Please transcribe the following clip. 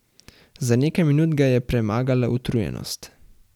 Za nekaj minut ga je premagala utrujenost.